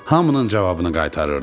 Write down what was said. Hamının cavabını qaytarırdı.